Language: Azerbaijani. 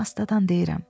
Astadan deyirəm.